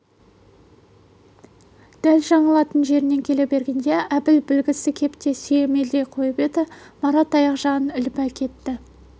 дәл жаңылатын жеріне келе бергенде әбіл білгісі кеп деп сүйемелдей қойып еді марат аяқ жағын іліп әкетті